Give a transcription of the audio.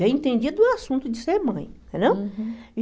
Já entendia do assunto de ser mãe, entendeu?